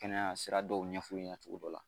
Kɛnɛya sira dɔw ɲɛf'u ɲɛna cogo dɔ la